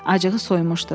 Acığı soymuşdu.